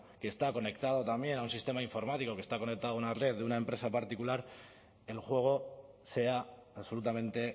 que está conectado también un sistema informático que está conectado una red de una empresa particular el juego sea absolutamente